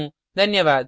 धन्यवाद